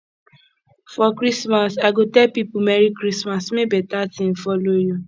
for christmas i go tell people merry christmas make better thing follow you